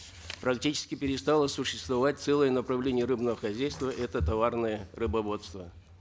практически перестало существовать целое направление рыбного хозяйства это товарное рыбоводство